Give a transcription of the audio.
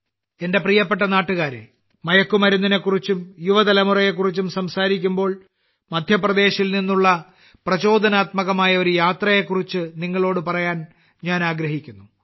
എന്റെ പ്രിയപ്പെട്ട നാട്ടുകാരേ മയക്കുമരുന്നിനെക്കുറിച്ചും യുവതലമുറയെക്കുറിച്ചും സംസാരിക്കുമ്പോൾ മധ്യപ്രദേശിൽ നിന്നുള്ള പ്രചോദനാത്മകമായ ഒരു യാത്രയെക്കുറിച്ച് നിങ്ങളോട് പറയാൻ ഞാൻ ആഗ്രഹിക്കുന്നു